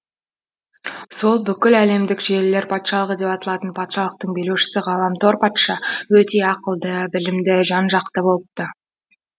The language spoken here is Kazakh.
сол бүкіл әлемдік желілер патшалығы деп аталатын патшалықтың билеушісі ғаламтор патша өте ақылды білімді жан жақты болыпты